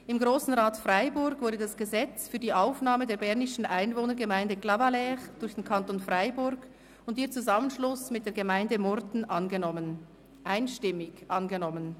Im Grossen Rat des Kantons Freiburg wurde das Gesetz über die Aufnahme der bernischen Einwohnergemeinde Clavaleyres durch den Kanton Freiburg und ihren Zusammenschluss mit der Gemeinde Murten (ClaZG) einstimmig angenommen.